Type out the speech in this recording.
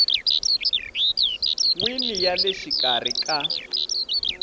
wini ya le xikarhi ka